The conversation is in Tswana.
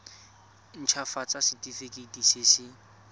nt hafatsa setefikeiti se se